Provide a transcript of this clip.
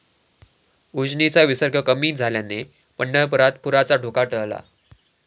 उजनीचा विसर्ग कमी झाल्याने पंढरपुरात पुराचा धोका टळला